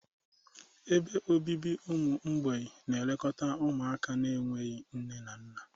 Ebe obibi ụmụ mgbei na-elekọta ụmụaka na-enweghị nne na nna.